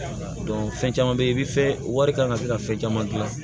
fɛn caman be yen i bi fɛ wari kan ka se ka fɛn caman gilan